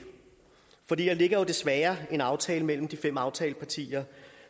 for der ligger desværre en aftale mellem de fem aftalepartier